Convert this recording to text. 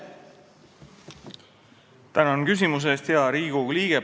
Tänan küsimuse eest, hea Riigikogu liige!